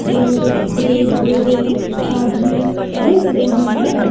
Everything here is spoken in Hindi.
गोलगप्पे भेल आदि बेच रहे हैं।